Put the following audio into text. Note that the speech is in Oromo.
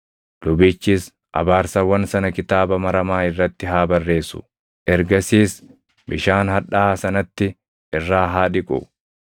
“ ‘Lubichis abaarsawwan sana kitaaba maramaa irratti haa barreessu; ergasiis bishaan hadhaaʼaa sanatti irraa haa dhiqu.